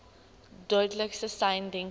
duidelikste sein denkbaar